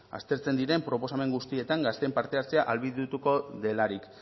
aztertzen diren proposamen guztietan gazteen parte hartzea ahalbidetu delarik